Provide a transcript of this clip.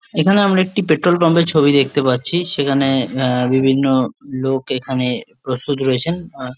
এখানে আমরা একটি পেট্রল পাম্প -এর ছবি দেখতে পারছি সেখানে বিভিন্ন লোক এখানে প্রস্তুত রয়েছেন আহ--